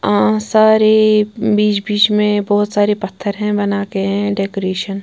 अह सारे बीच बीच में बहुत सारे पत्थर हैं बनाते हैं डेकोरेशन --